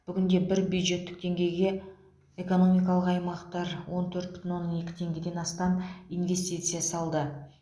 бүгінде бір бюджеттік теңгеге экономикалық аймақтар он төрт бүтін оннан екі теңгеден астам инвестиция салды